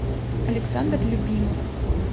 александр любимов